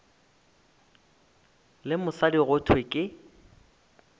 le mosadi go thwe ke